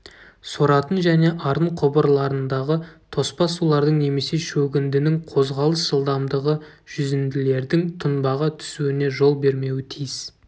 соратын және арын құбырларындағы тоспа сулардың немесе шөгіндінің қозғалыс жылдамдығы жүзінділердің тұнбаға түсуіне жол бермеуі тиіс